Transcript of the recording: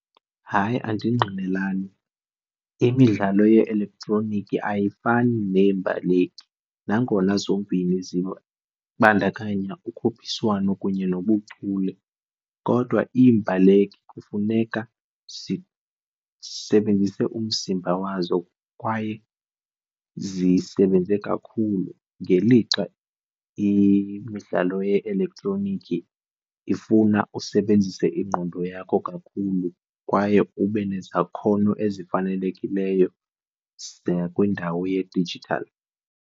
Hayi, andingqinelani. Imidlalo ye-elektroniki ayifani neyembaleki nangona zombini zibandakanya ukhuphiswano kunye nobuchule, kodwa iimbaleki kufuneka zisebenzise umzimba wazo kwaye zisebenze kakhulu ngelixa imidlalo ye-elektroniki ifuna usebenzise ingqondo yakho kakhulu kwaye ube nezakhono ezifanelekileyo nakwindawo yedijithali.